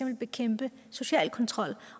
at bekæmpe social kontrol